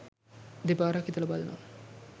දෙපාරක් හිතලා බලනවා.